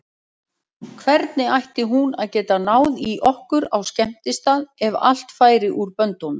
Hvernig ætti hún að geta náð í okkur á skemmtistað ef allt færi úr böndunum?